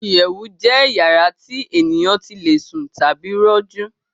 Ìyẹ̀wù jẹ́ yàrá tí ènìyàn tí le sùn tàbí rọjú